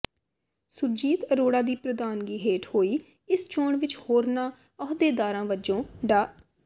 ਸੁਰਜੀਤ ਅਰੋੜਾ ਦੀ ਪ੍ਰਧਾਨਗੀ ਹੇਠ ਹੋਈ ਇਸ ਚੋਣ ਵਿਚ ਹੋਰਨਾਂ ਅਹੁਦੇਦਾਰਾਂ ਵਜੋਂ ਡਾ